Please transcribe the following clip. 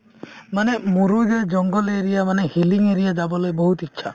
মানে মোৰো যে জংগল area মানে hilly area ত যাবলৈ বহুত ইচ্ছা